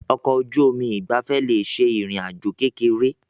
Ọkọ̀ ojú omi ìgbafẹ́ le ṣe ìrìn àjò kékeré.